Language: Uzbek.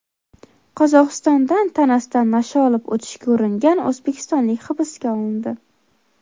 Qozog‘istondan tanasida nasha olib o‘tishga uringan o‘zbekistonlik hibsga olindi.